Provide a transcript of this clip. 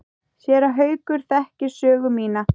Séra Haukur þekkir sögu mína.